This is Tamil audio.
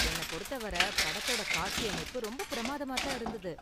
என்ன பொறுத்தவர படத்தோட காட்சியமைப்பு ரொம்ப பிரமாதமா தான் இருந்தது.